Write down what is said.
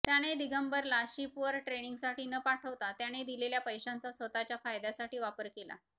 त्याने दिगंबरला शिपवर ट्रेनिंगसाठी न पाठवता त्याने दिलेल्या पैशांचा स्वतःच्या फायद्यासाठी वापर केला